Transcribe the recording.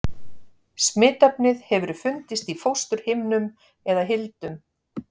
Smitefnið hefur fundist í fósturhimnum eða hildum.